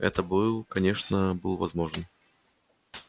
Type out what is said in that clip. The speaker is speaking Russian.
это был конечно был возможен